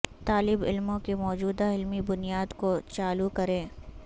طالب علموں کے موجودہ علمی بنیاد کو چالو کریں